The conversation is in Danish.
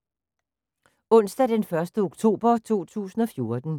Onsdag d. 1. oktober 2014